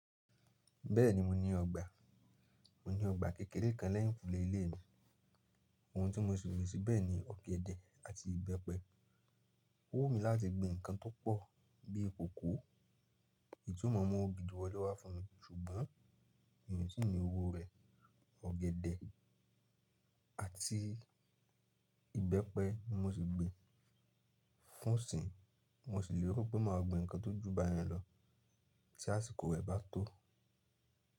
Bẹ́ẹ̀ni mo ní ọgbà, mo ní ọgbà kékeré kan lẹ́yìnkùlè ilé mi. Ohun tí mo sì gbìn síbẹ̀ ni ọ̀gẹ̀dẹ̀ àti ìbẹ́pẹ. Ó wù mí láti gbin nǹkan tó pọ̀ bí cocoa, ítumọ̀ mọ̀ gidi wọlé wá fún mi ṣùgbọ́n mí tì ni owó rẹ̀. Ọ̀gẹ̀dẹ̀ àti ìbẹ́pẹ ni mo ti gbin fún ìsìn, mo sì lè ro pé màá gbin nǹkan tó ju báyẹn lọ tí àsìkò rẹ̀ bá tó.